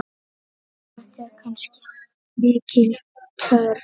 Þetta var ansi mikil törn.